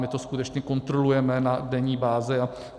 My to skutečně kontrolujeme na denní bázi.